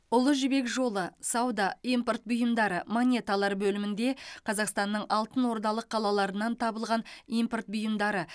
ұлы жібек жолы сауда импорт бұйымдары монеталар бөлімінде қазақстанның алтынордалық қалаларынан табылған импорт бұйымдары